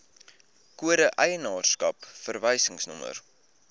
kode eienaarskap verwysingsnommer